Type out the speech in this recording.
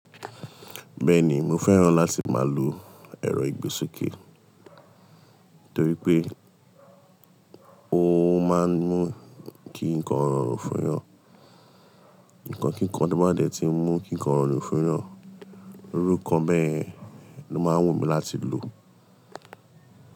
Bẹ́ẹ̀ni, mo fẹ́ràn láti máa lo ẹ̀rọ ìgbésókè torí pé ó máa ń mú kí nǹkan rọrùn fún yàn. Ǹkan kíkan ti ó máa ń dẹ̀ ti ń mú kí nǹkan rọrùn fún yàn. Irú nkọ bẹ́yẹ̀ ni ó máa ń wù mí láti lò.